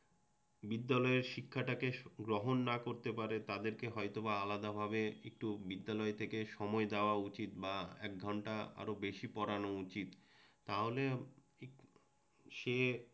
সে বিদ্যালয়ের শিক্ষাটাকে গ্রহণ না করতে পারে তাদেরকে হয়তোবা আলাদাভাবে একটু বিদ্যালয় থেকে সময় দেওয়া উচিৎ বা এক ঘণ্টা আরও বেশি পড়ানো উচিৎ তাহলে